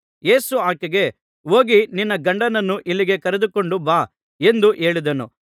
ಯೇಸು ಆಕೆಗೆ ಹೋಗಿ ನಿನ್ನ ಗಂಡನನ್ನು ಇಲ್ಲಿಗೆ ಕರೆದುಕೊಂಡು ಬಾ ಎಂದು ಹೇಳಿದನು